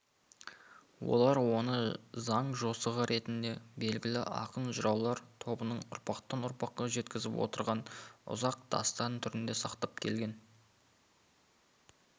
олар оны заң жосығы ретінде белгілі ақын-жыраулар тобының ұрпақтан-ұрпаққа жеткізіп отырған ұзақ дастан түрінде сақтап келген